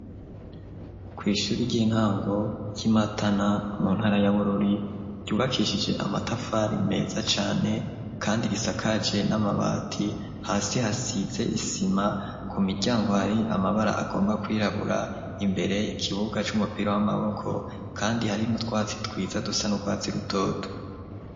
Kw'ishuri ry'intango ry'i matana mu ntara yabururi ryubakishije amatafari meza cyane kandi risakaje n'amabati hasi hasize isima ku miryango ari amabara agomba kwirabura imbere ikibuga cy'umupira w'amaboko kandi harimo twatsi twiza dusa n'urwatsi rutoto.